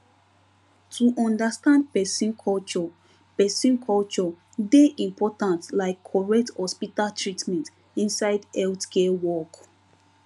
to understand person culture person culture dey important like correct hospital treatment inside healthcare work